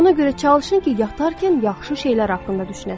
Ona görə çalışın ki, yatarkən yaxşı şeylər haqqında düşünəsiz.